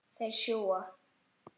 Þeir sjúga.